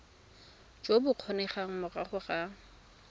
jo bo kgonegang morago ga